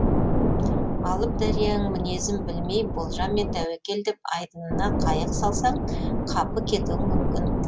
алып дарияның мінезін білмей болжаммен тәуекел деп айдынына қайық салсаң қапы кетуің мүмкін